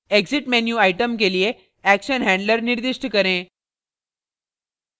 exit menu item के लिए action handler निर्दिष्ट करें